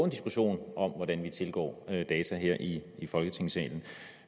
diskussion om hvordan vi tilgår data her i i folketingssalen